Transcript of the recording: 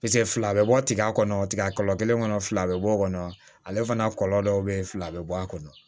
pase fila be bɔ tiga kɔnɔ tigɛ kɔlɔn kelen kɔnɔ fila bɛ bɔ kɔnɔ ale fana kɔlɔn dɔw be ye fila be bɔ a kɔnɔ